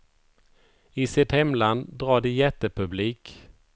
I sitt hemland drar de jättepublik.